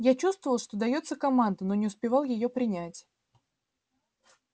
я чувствовал что даётся команда но не успевал её принять